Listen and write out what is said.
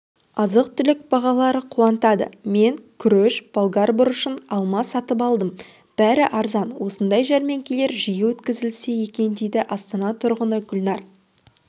азық-түлік бағалары қуантады мен күріш болгар бұрышын алма сатып алдым бәрі арзан осындай жәрмеңкелер жиі өткізілсе екен дейді астана тұрғыны гүлнар